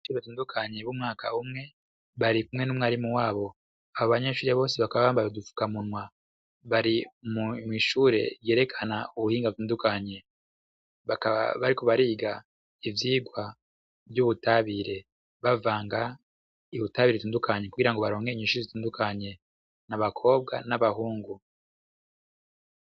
Abanyeshure batandukanye b'umwaka umwe barikumwe n'umwarimu wabo, abo banyenshure bose bakaba bambaye udufukamunwa, bari mw'ishure yerekana ubuhinga butandukanye, bakaba bariko bariga ivyigwa vy'ubutabire bavanga ubutabire butandukanye kugira ngo baronke inyishu zitandukanye, n'abakobwa, n'abahungu.